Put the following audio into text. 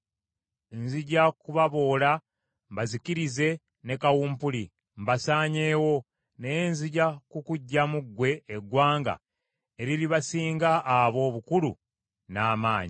Nzija kubaboola mbazikirize ne kawumpuli, mbasaanyeewo; naye nzija kukuggyamu ggwe eggwanga eriribasinga abo obukulu n’amaanyi.”